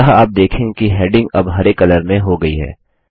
अतः आप देखेंगे कि हेडिंग अब हरे कलर में ग्रीन हो गई है